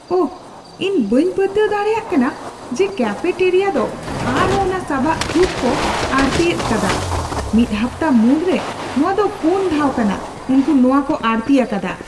ᱳᱦ!, ᱤᱧ ᱵᱟᱹᱧ ᱯᱟᱹᱛᱭᱟᱹᱣ ᱫᱟᱲᱮᱭᱟᱜ ᱠᱟᱱᱟ ᱡᱮ ᱠᱮᱯᱷᱮᱴᱮᱨᱤᱭᱟ ᱫᱚ ᱟᱨᱦᱚᱸ ᱚᱱᱟ ᱥᱟᱵᱟᱜ ᱥᱩᱯ ᱠᱚ ᱟᱹᱲᱛᱤᱭᱮᱫᱟ ᱟᱠᱟᱫᱟ ᱾ ᱢᱤᱫ ᱦᱟᱯᱛᱟ ᱢᱩᱫᱽᱨᱮ ᱱᱚᱶᱟ ᱫᱚ ᱯᱩᱱ ᱫᱷᱟᱣ ᱠᱟᱱᱟ ᱩᱱᱠᱩ ᱱᱚᱶᱟ ᱠᱚ ᱟᱹᱲᱛᱤ ᱟᱠᱟᱫᱟ ᱾